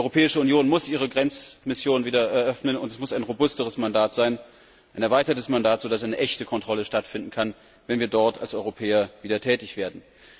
Die Europäische Union muss ihre Grenzmission wieder eröffnen, und es muss ein robusteres Mandat sein, ein erweitertes Mandat, so dass eine echte Kontrolle stattfinden kann, wenn wir dort als Europäer wieder tätig werden.